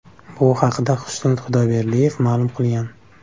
Bu haqda Xushnud Xudoyberdiyev ma’lum qilgan .